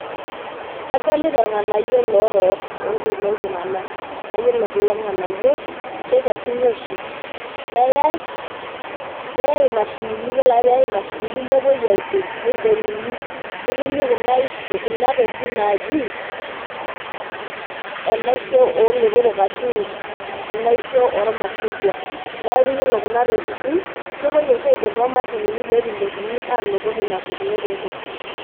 Adolita irnganayio lorok loltunganak, na iyolo kulo nganayio kekesuni oshi neyae neyae imashinini, yiolo ake peyae imashinini nepuoi aidong nidonguni netumi kuna tokitin naji enaisho olotorok ashu enaisho ormashungwa, neaku ore kuna tokitin kepoi oshi aidong tomashinini petumokini ainoto kulo tontokitin.